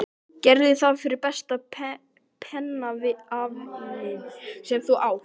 Gerðu það fyrir besta pennavininn sem þú átt.